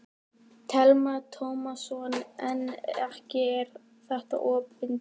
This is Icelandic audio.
Telma Tómasson: En ekki er þetta opin tékki þá?